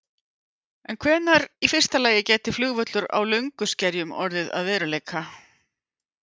En hvenær í fyrsta lagi gæti flugvöllur á Lönguskerjum orðið að veruleika?